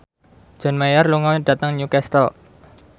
John Mayer lunga dhateng Newcastle